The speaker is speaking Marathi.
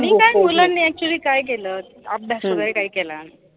आणि काय actually मुलांनी काय केलं अभ्यास वगैरे काय केला नाही.